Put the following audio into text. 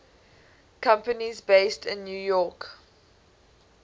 companies based in new york city